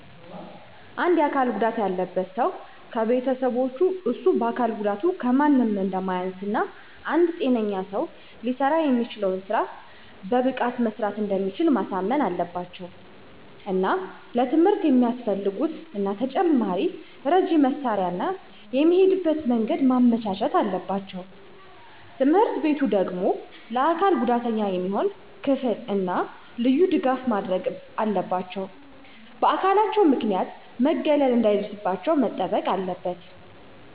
አንድ የአካል ጉዳት ያለበት ሠው ከቤተሠቦቹ እሱ በአካል ጉዳቱ ከማንም አንደማያንስ እና አንድ ጤነኛ ሰው ሊሠራ የሚችለውን ስራ በብቃት መስራት እንደሚችል ማሳመን አለባቸው። እና ለትምህርት የሚያፈልጉትን እና ተጨማሪ ረጂ መሳሪያ እና የሚሄድበትን መንገድ ማመቻቸት አለባቸው። ትምህርትቤቱ ደግሞ ለአካል ጉዳተኛ የሚሆን ክፍል እና ልዩ ድጋፍ ማድረግ አለባቸው። በአካላቸው ምክንያት መገለል እነሰዳይደርስባቸው መጠበቅ አለበት።